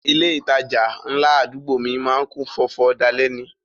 Ilé ìtajà ńlá àdúgbò mi má ń kún fọ́fọ́ dalẹ́ ni